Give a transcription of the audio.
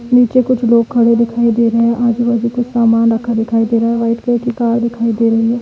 नीचे कुछ लोग खड़े दिखाई दे रहे हैं। आजू- बाजू कुछ सामान रखा दिखाई दे रहा है। वाइट कलर की कार दिखाई दे रही है।